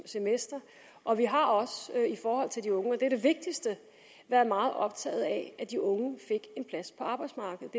semester og vi har også i forhold til de unge og det er det vigtigste været meget optaget af at de unge fik en plads på arbejdsmarkedet